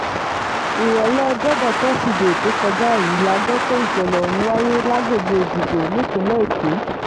ìrọ̀lẹ́ ọjọ́bọ̀ tọ́sídẹ̀ẹ́ tó kọjá yìí la gbọ́ pé ìṣẹ̀lẹ̀ ọ̀hún wáyé lágbègbè èjìgbò nípìnlẹ̀ èkó